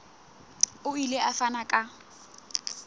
o ile a fana ka